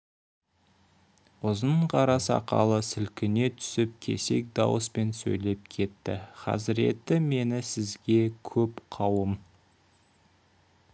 ұзын қара сақалы сілкіне түсіп кесек дауыспен сөйлеп кетті хазіреті мені сізге көп қауым